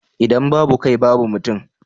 idan babu kai babu mutum